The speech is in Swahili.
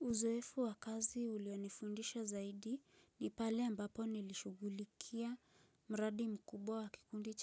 Uzoefu wa kazi ulionifundisha zaidi ni pale ambapo nilishughulikia mradi mkubwa wa kikundi